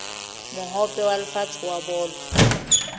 mohope wa lefatshe wa bolo